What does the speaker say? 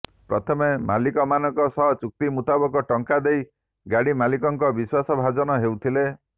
ପ୍ରଥମେ ମାଲିକମାନଙ୍କ ସହ ଚୁକ୍ତି ମୁତାବକ ଟଙ୍କା ଦେଇ ଗାଡି ମାଲିକଙ୍କ ବିଶ୍ୱାସ ଭାଜନ ହେଉଥିଲେ